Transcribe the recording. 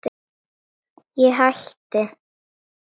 Ég hætti.